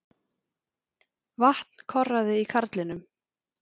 Vatn korraði í karlinum.